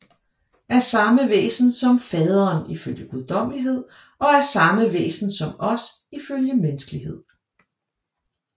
Af samme væsen som Faderen ifølge guddommelighed og af samme væsen som os ifølge menneskelighed